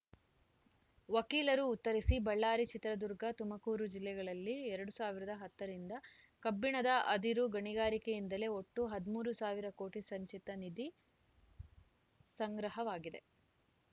ವಕೀಲರು ಉತ್ತರಿಸಿ ಬಳ್ಳಾರಿ ಚಿತ್ರದುರ್ಗ ತುಮಕೂರು ಜಿಲ್ಲೆಗಳಲ್ಲಿ ಎರಡ್ ಸಾವಿರದ ಹತ್ತ ರಿಂದ ಕಬ್ಬಿಣದ ಅದಿರು ಗಣಿಗಾರಿಕೆಯಿಂದಲೇ ಒಟ್ಟು ಹದಿಮೂರು ಸಾವಿರ ಕೋಟಿ ಸಂಚಿತ ನಿಧಿ ಸಂಗ್ರಹವಾಗಿದೆ